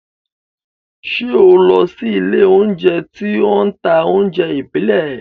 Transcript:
Ṣé o lọ sí ilé-oúnjẹ tí ó ń ta oúnjẹ ìbílẹ̀?